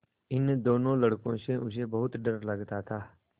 इन दोनों लड़कों से उसे बहुत डर लगता था